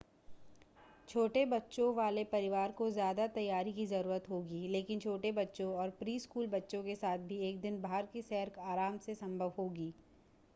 छोटे बच्चों वाले परिवार को ज़्यादा तैयारी की ज़रूरत होगी लेकिन छोटे बच्चों और प्री-स्कूल बच्चों के साथ भी एक दिन बाहर की सैर आराम से संभव होगी